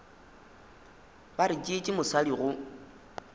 ba re tšeetše mosadi go